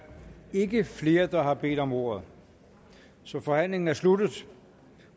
ikke flere der har bedt om ordet så forhandlingen er sluttet